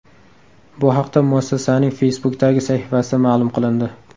Bu haqda muassasaning Facebook’dagi sahifasida ma’lum qilindi .